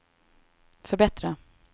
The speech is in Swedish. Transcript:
förbättra